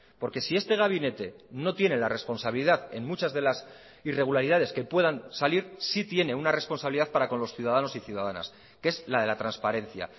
porque si este gabinete no tiene la responsabilidad en muchas de las irregularidades que puedan salir sí tiene una responsabilidad para con los ciudadanos y ciudadanas que es la de la transparencia